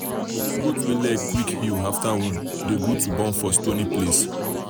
goat wey leg quick heal after wound um dey um good to born for stony place.